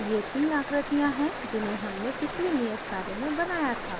ये तीन आकृतियाँ हैं जिन्हें हमने पिछले नियत कार्य में बनाया था